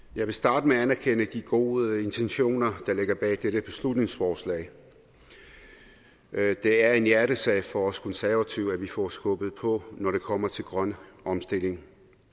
jeg vil starte med at anerkende de gode intentioner der ligger bag dette beslutningsforslag det er en hjertesag for os konservative at vi får skubbet på når det kommer til grøn omstilling